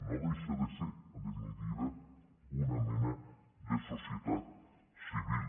no deixa de ser en definitiva una mena de societat civil